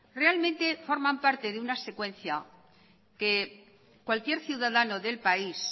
realmente forman parte de una secuencia que cualquier ciudadano del país